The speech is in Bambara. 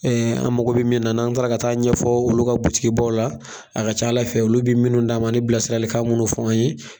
an mago min n'an taara ka taa ɲɛfɔ olu ka butigi baw la a ka ca Ala fɛ olu bɛ minnu d'an ma ni bilasirali kan minnu fɔ an ye.